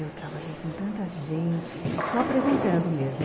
Eu trabalhei com tanta gente, só apresentando mesmo.